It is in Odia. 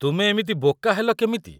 ତୁମେ ଏମିତି ବୋକା ହେଲ କେମିତି?